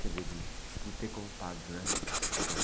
Quer dizer, de, de ter contado, né? A sua história.